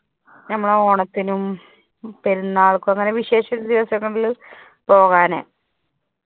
നമ്മൾ ഓണത്തിനും പെരുന്നാളിനും അങ്ങനെ വിശേഷ ദിവസങ്ങളില് പോവാണെ.